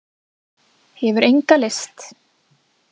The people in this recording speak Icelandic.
Hefur enga lyst.